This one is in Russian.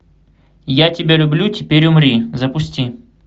я тебя люблю теперь умри запусти